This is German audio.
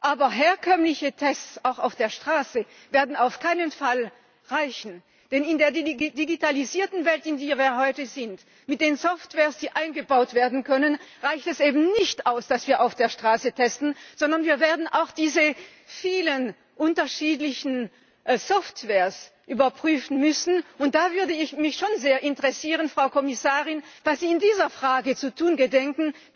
Aber herkömmliche Tests auch auf der Straße werden auf keinen Fall reichen, denn in der digitalisierten Welt, in der wir heute leben, mit den Softwares, die eingebaut werden können, reicht es eben nicht aus, dass wir auf der Straße testen, sondern wir werden auch diese vielen unterschiedlichen Softwares überprüfen müssen. Und da würde mich schon sehr interessieren, Frau Kommissarin, was Sie in dieser Frage zu tun gedenken.